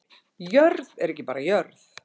Jörð er ekki bara jörð